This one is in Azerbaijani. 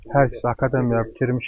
Hər ikisi akademiyaya girmişdi.